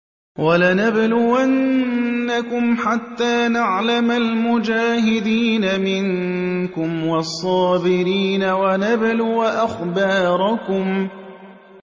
وَلَنَبْلُوَنَّكُمْ حَتَّىٰ نَعْلَمَ الْمُجَاهِدِينَ مِنكُمْ وَالصَّابِرِينَ وَنَبْلُوَ أَخْبَارَكُمْ